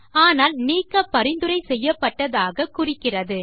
ஆனால் நீக்க பரிந்துரை செய்யப்பட்டதாக குறிக்கிறது